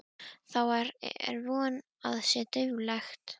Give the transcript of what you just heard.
Þá er von að sé dauflegt!